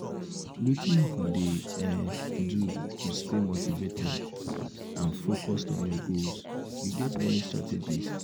wetin you dey um do to stay motivated and focuesd on your goals you get any strategies?